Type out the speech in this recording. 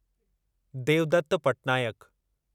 Devdutt Patnaik